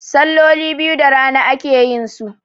salloli biyu da rana ake yinsu